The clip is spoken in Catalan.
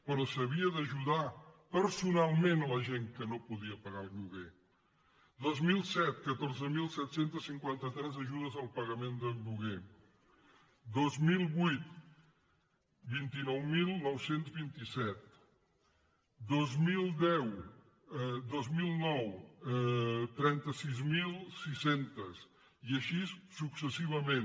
però s’havia d’ajudar personalment la gent que no podia pagar el lloguer dos mil set catorze mil set cents i cinquanta tres ajudes al pagament del lloguer dos mil vuit vint nou mil nou cents i vint set dos mil nou trenta sis mil sis cents i així successivament